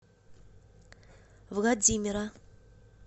владимира